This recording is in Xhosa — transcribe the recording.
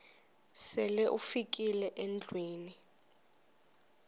sele ufikile endlwini